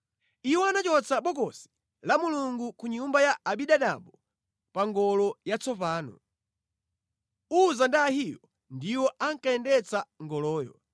Iwo anachotsa Bokosi la Mulungu ku nyumba ya Abinadabu pa ngolo yatsopano. Uza ndi Ahiyo ndiwo ankayendetsa ngoloyo.